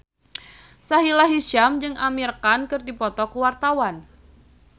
Sahila Hisyam jeung Amir Khan keur dipoto ku wartawan